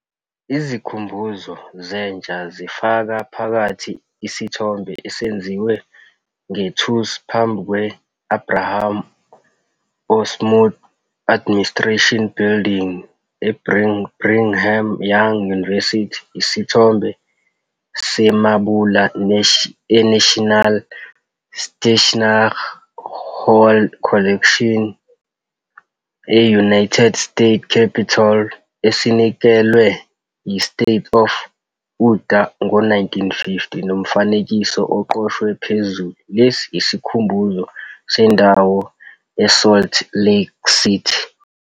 Izikhumbuzo zentsha zifaka phakathi isithombe esenziwe ngethusi phambi kwe-Abraham O. Smoot Administration Building, eBrigham Young University, isithombe semabula eNational Statuary Hall Collection e-United States Capitol, esinikelwe yi-State of Utah ngo-1950, nomfanekiso oqoshwe phezulu "Lesi yisikhumbuzo" sendawo eSalt Lake City.